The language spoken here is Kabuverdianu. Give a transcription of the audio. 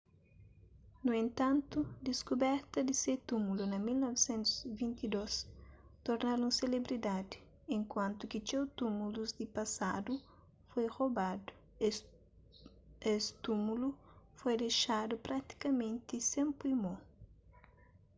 nu entantu diskuberta di se túmulu na 1922 torna-l un selebridadi enkuantu ki txeu túmulus di pasadu foi robadu es túmulu foi dexadu pratikamenti sen poi mo